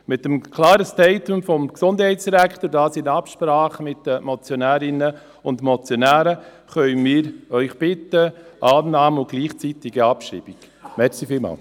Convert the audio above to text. Mit dem klaren Statement des Gesundheitsdirektors, können wir Sie in Absprache mit den Motionärinnen und Motionären um Annahme bei gleichzeitiger Abschreibung bitten.